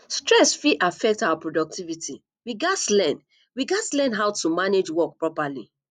stress fit affect our productivity we gats learn we gats learn how to manage work properly